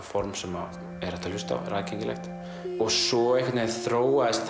form sem er hægt að hlusta á er aðgengilegt svo þróaðist